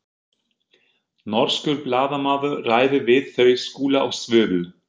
Norskur blaðamaður ræðir við þau Skúla og Svövu.